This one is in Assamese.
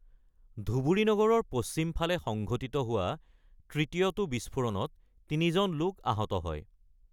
ধুবুৰী নগৰৰ পশ্চিম ফালে সংঘটিত হোৱা তৃতীয়টো বিস্ফোৰণত তিনিজন লোক আহত হয়।